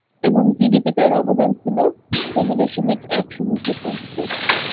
এবং GDP তে এর অবদান ছিল চোদ্দ দশমিক এক শুন্য শতাংশ.